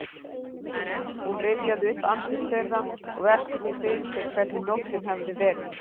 Hún rifjaði upp andlit þeirra og velti því fyrir sér hvernig nóttin hefði verið.